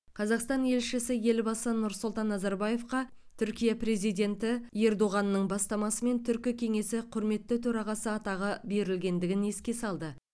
қазақстан елшісі елбасы нұрсұлтан назарбаевқа түркия президенті ердоғанның бастамасымен түркі кеңесі құрметті төрағасы атағы берілгендігін еске салды